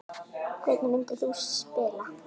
Hvernig myndir þú spila?